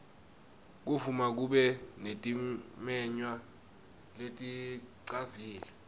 kuvama kuba netimenywa leticavile